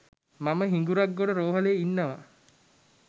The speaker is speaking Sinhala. මම හිඟුරක්ගොඩ රෝහ‍ලේ ඉන්නවා